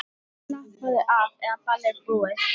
það var alltaf mikil eftirspurn eftir okkar vörum.